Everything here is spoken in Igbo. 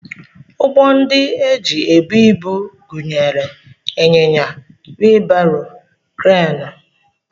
Ụgbọ ndị e ji ebu ibu gụnyere ịnyịnya, wii baro, kreenụ